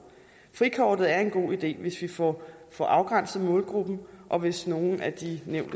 frikortet er en god idé hvis vi får får afgrænset målgruppen og hvis nogle af de